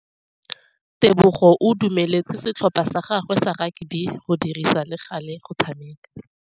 Tebogô o dumeletse setlhopha sa gagwe sa rakabi go dirisa le galê go tshameka.